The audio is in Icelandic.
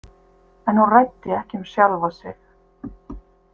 En hún ræddi ekki um sjálfa sig.